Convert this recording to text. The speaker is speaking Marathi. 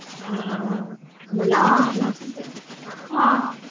हा हा हा मग लांब होत